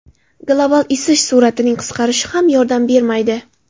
Global isish sur’atining qisqarishi ham yordam bermaydi.